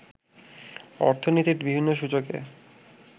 অর্থনীতির বিভিন্ন সূচকে